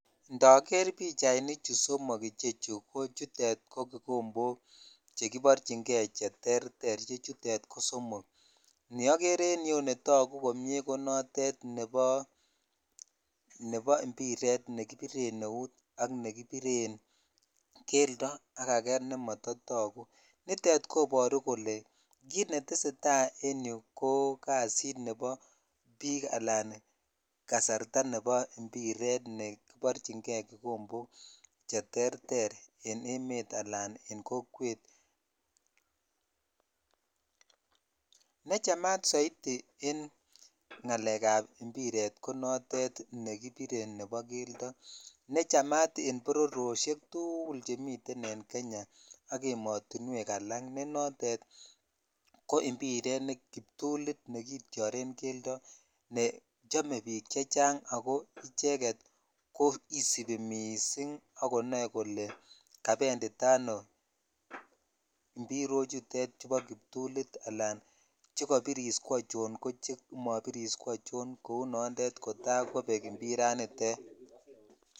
Indoger pichainnichu somok chutet somok ko kikombok che kiborchin kei che terter che chutet neoger en yuu netagu komie ko noton nebo impiret ne kibiren eut ak nekibiren keldo ak akee nemotoyogu nitet ko toguu kele kit netesetai en yuu ko kasit nebo bik alan kasarta nebo impiret nekiborchin kei kikombok che terter en emet ala en kokwet (puse) ne chamat soiti en ngalek ab impiret ko notet nekibire nebo keldo ne chamat en bororyoshek tugul chemiten en Kenya ak ematuwek alak ne notet ko impiret kiptolit netityoren keldo ne chome bik chechang ako icheket koisibi missing ak konoe kole kabendita ano imbirochutet bo kiptulit ala chikabiris ko achon ak che mabiris kocho kou noton kotakobek impiranitat.